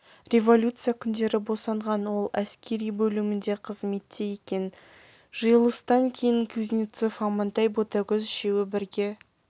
революция күндері босанған ол әскери бөлімінде қызметте екен жиылыстан кейін кузнецов амантай ботагөз үшеуі бірге